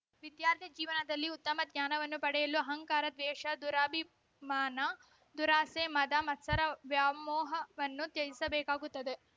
ವಿದ್ಯಾರ್ಥಿ ಜೀವನದಲ್ಲಿ ಉತ್ತಮ ಜ್ಞಾನವನ್ನು ಪಡೆಯಲು ಅಹಂಕಾರ ದ್ವೇಷ ದುರಾಭಿಮಾನ ದುರಾಸೆ ಮದ ಮತ್ಸರ ವ್ಯಾಮೋಹವನ್ನು ತ್ಯಜಿಸಬೇಕಾಗುತ್ತದೆ